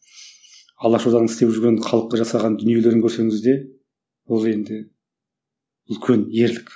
алаш орданың істеп жүрген халыққа жасаған дүниелерін көрсеңіз де ол енді үлкен ерлік